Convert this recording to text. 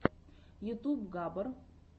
ютуб габар